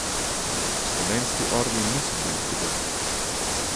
Slovenski orli niso bili pri vrhu.